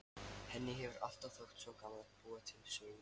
Henni hefur alltaf þótt svo gaman að búa til sögur.